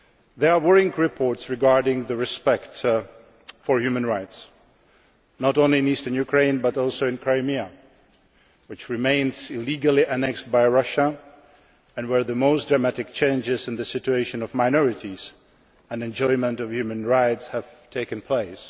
There are worrying reports regarding respect for human rights not only in eastern Ukraine, but also in Crimea, which remains illegally annexed by Russia. Crimea is where the most dramatic changes in the situation of minorities and in the enjoyment of human rights have taken place.